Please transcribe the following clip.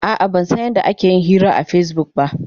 A'a, ban san yadda ake yin hira akan Facebook ba.